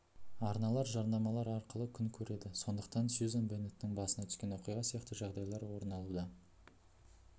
арналар жарнамалар арқылы күн көреді сондықтан сюзан беннеттің басына түскен оқиға сияқты жағдайлар орын алуда